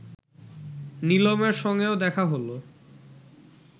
নিলমের সঙ্গেও দেখা হল